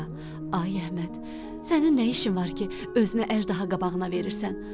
Ay Əhməd, sənin nə işin var ki, özünü əjdaha qabağına verirsən?